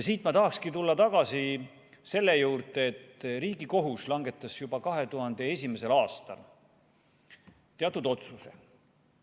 Siit ma tahakski tulla tagasi selle juurde, et Riigikohus langetas juba 2001. aastal ühe teatud otsuse.